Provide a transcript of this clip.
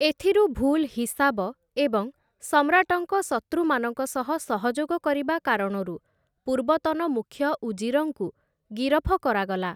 ଏଥିରୁ, ଭୁଲ୍ ହିସାବ ଏବଂ ସମ୍ରାଟଙ୍କ ଶତ୍ରୁମାନଙ୍କ ସହ ସହଯୋଗ କରିବା କାରଣରୁ ପୂର୍ବତନ ମୁଖ୍ୟ ଉଜିରଙ୍କୁ ଗିରଫ କରାଗଲା ।